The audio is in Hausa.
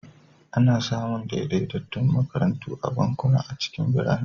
Ana samun daidaitattun makarantu da bankuna a cikin birane.